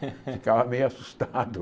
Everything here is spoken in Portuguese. Ficava meio assustado.